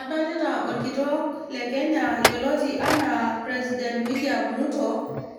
Adolita okitok le Kenya yioloti anaa president William Ruto